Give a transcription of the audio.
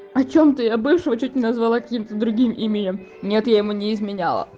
о чём ты я бывшего чуть не назвала каким-то другим именем нет я ему не изменяла